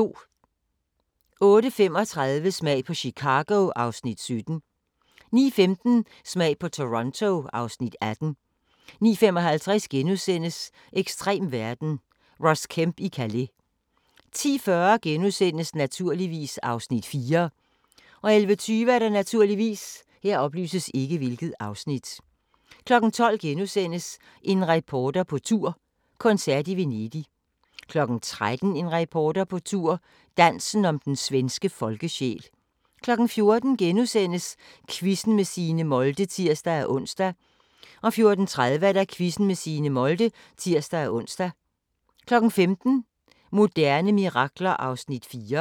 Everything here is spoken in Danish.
08:35: Smag på Chicago (Afs. 17) 09:15: Smag på Toronto (Afs. 18) 09:55: Ekstrem verden – Ross Kemp i Calais * 10:40: Naturligvis (Afs. 4)* 11:20: Naturligvis 12:00: En reporter på tur – koncert i Venedig * 13:00: En reporter på tur – Dansen om den svenske folkesjæl 14:00: Quizzen med Signe Molde *(tir-ons) 14:30: Quizzen med Signe Molde (tir-ons) 15:00: Moderne mirakler (4:6)